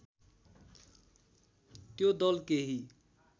त्यो दल केही